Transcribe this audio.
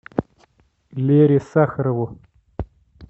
лере сахарову